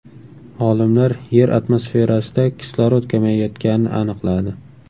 Olimlar Yer atmosferasida kislorod kamayayotganini aniqladi.